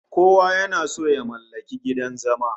Kowa yana son ya mallaki gidan zama